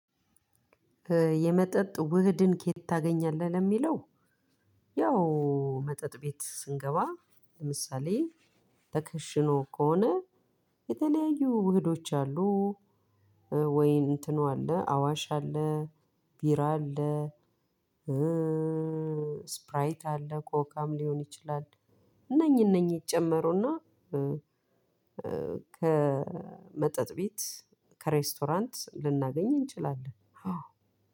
የመጠጥ ውህድን ከየት ታገኛለህ ለሚለው? ያው መጠጥ ቤት ስንገባ ለምሳሌ ተከሽኖ ከሆነ የተለያዩ ውህዶች አሉ። ወይ እንትኑ አለ አዋሽ አለ ቢራ አለ። ስፕራይት አለ ኮካም ሊሆን ይችላል። እነኚህ እነኚህ ይጨመሩና ከመጠጥ ቤት ከሬስቶራንት ልናገኝ እንችላለን። አዎ